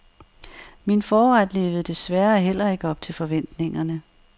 Min forret levede desværre heller ikke op til forventningerne.